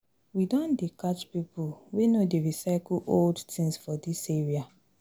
We don dey catch pipo wey no dey recycle old tins for dis area.